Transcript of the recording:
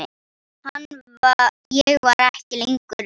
Ég var ekki lengur ein.